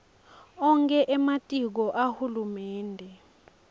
onkhe ematiko ahulumende